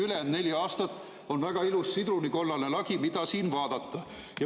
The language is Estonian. Ülejäänud neli aastat on nii, et siin väga ilus sidrunikollane lagi, mida vaadata.